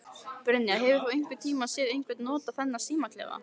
Brynja: Hefur þú einhvern tíman séð einhver nota þennan símaklefa?